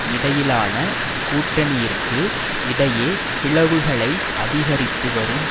இடையிலான கூட்டனியிற்க்கு இடையே பிளவுகளை அதிகரித்து வரும்